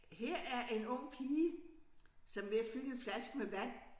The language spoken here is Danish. Her er en ung pige som ved at fylde en flaske med vand